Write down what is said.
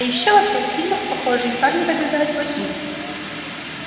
а ещё во всех фильмах похожие парни побеждают плохих